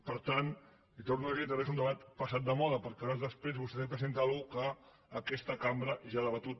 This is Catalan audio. per tant li torno a dir que aquest és un debat passat de moda perquè hores després vostè presenta una cosa que aquesta cambra ja ha debatut